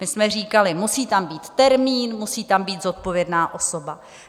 My jsme říkali: Musí tam být termín, musí tam být zodpovědná osoba.